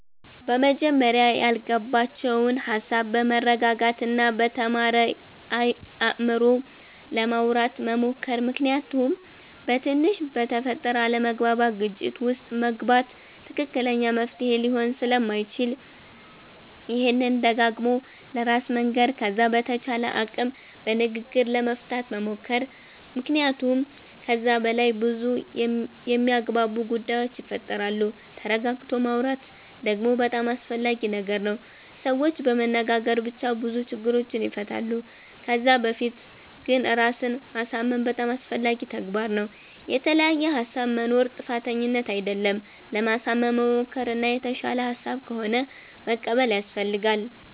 በመጀመርያ ያላግባባቸዉን ሃሳብ በመረጋጋት እና በተማረ አይምሮ ለማዉራት መሞከር ምክንያቱም በትንሽ በተፈጠረ አለመግባባት ግጭት ዉስጥ መግባት ትክክለኛ መፍትሄ ሊሆን ስለማይችል ይሄንን ደጋግሞ ለራስ መንገር ከዛ በተቻለ አቅም በንግግር ለመፍታት መሞከር መክንያቱመ ከዛ በላይ በዙ የሚያግባቡ ጉዳዮች ይፈጠራሉ ተረጋግቶ ማወራት ደግሞ በጣም አስፈላጊ ነገር ነዉ ሰዎች በመነጋገር ብቻ ብዙ ችግሮችን ይፈታሉ ከዛ በፊት ግን ራስን ማሳምን በጣም አስፈላጊ ተግባር ነዉ። የተለያየ ሃሳብ መኖር ጥፋተኝነት አደለም ለማሳመን መሞከር እና የተሻለ ሃሳብ ከሆነ መቀበል ያሰፈልጋል